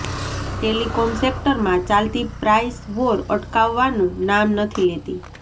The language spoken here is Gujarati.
ટેલિકોમ સેક્ટરમાં ચાલતી પ્રાઈસ વોર અટકવાનું નામ નથી લેતી